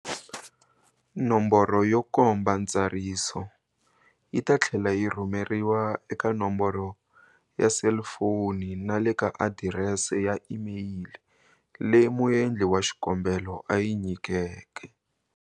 Nomboro yo komba ntsariso yi ta tlhela yi rhumeriwa eka nomboro ya selifoni na le ka adirese ya imeyili leyi muendli wa xikombelo a yi nyikeke.